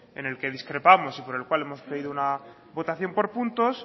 en el que discrepamos y por el cual hemos pedido una votación por puntos